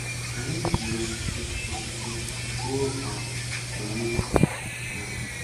Anyị ji osisi osisi gwuo um olulu. um